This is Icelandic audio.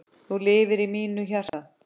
Þú lifir í mínu hjarta.